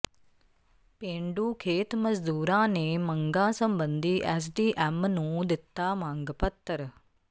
ਪੇਂਡੂ ਖੇਤ ਮਜ਼ਦੂਰਾਂ ਨੇ ਮੰਗਾਂ ਸਬੰਧੀ ਐੱਸਡੀਐੱਮ ਨੂੰ ਦਿੱਤਾ ਮੰਗ ਪੱਤਰ